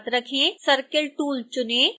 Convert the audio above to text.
circle tool चुनें